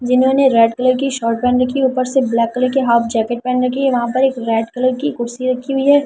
इन्होंने red colour की shirt पहन रखी है ऊपर से ब्लैक कलर के हाफ जैकेट पहन रखी है वहां पर एक रेड कलर की कुर्सी रखी हुई है।